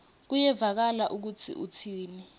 kuyevakala kutsi utsini